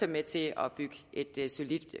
med til at bygge et solidt